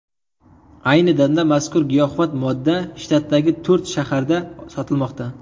Ayni damda mazkur giyohvand modda shtatdagi to‘rt shaharda sotilmoqda.